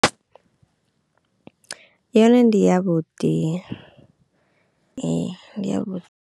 Yone ndi ya vhuḓi ndi ndi ya vhuḓi.